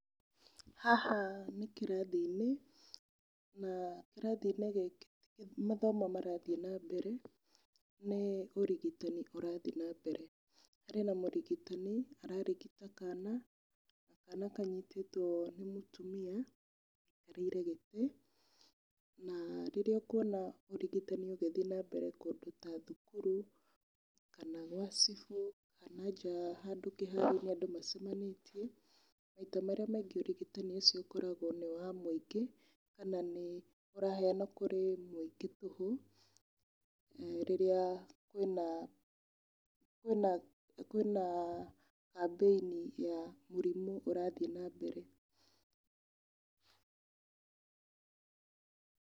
Haha nĩ kirathi-inĩ, na kirathi-inĩ gĩkĩ ti mathomo marathiĩ na mbere, nĩ ũrigitani ũrathiĩ na mbere. Harĩ na mũrigitani ararigita kana, kana kanyitĩtwo nĩ mũtumia aikarĩire gĩtĩ. Na rĩrĩa ũkuona ũrigitani ũthiĩ na mbere kũndũ ta thukuru, kana gwa cibu, kana nja handũ kĩharo-inĩ handũ andũ macemanĩtie, maita marĩa mingĩ ũrigitani ũcio ũkoragwo nĩ wa mũingĩ, kana nĩ ũraheanwo kũri mũingĩ tũhũ, rĩrĩa kwĩna kambĩni ya mũrimũ ũrathiĩ na mbere.